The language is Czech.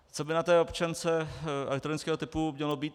Co by na té občance elektronického typu mělo být?